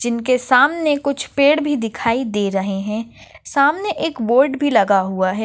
जिनके सामने कुछ पेड़ भी दिखाई दे रहे है सामने एक बोर्ड भी लगा हुआ है।